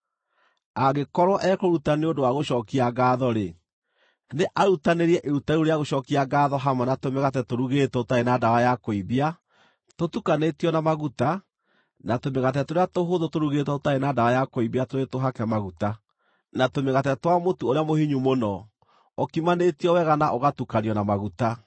“ ‘Angĩkorwo ekũruta nĩ ũndũ wa gũcookia ngaatho-rĩ, nĩ arutanĩrie iruta rĩu rĩa gũcookia ngaatho hamwe na tũmĩgate tũrugĩtwo tũtarĩ na ndawa ya kũimbia tũtukanĩtio na maguta na tũmĩgate tũrĩa tũhũthũ tũrugĩtwo tũtarĩ na ndawa ya kũimbia tũrĩ tũhake maguta, na tũmĩgate twa mũtu ũrĩa mũhinyu mũno, ũkimanĩtio wega na ũgatukanio na maguta.